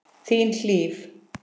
Þín, Hlíf.